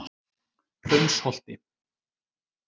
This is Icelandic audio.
Hraunsholti